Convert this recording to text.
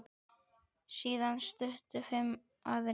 Síðan stukku fimm aðrir.